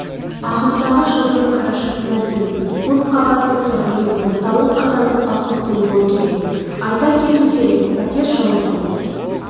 ағымдағы жылдың қарашасына дейін көпқабатты тұрғын үй орталық қазандыққа қосылуы керек айта кету керек пәтер жылыту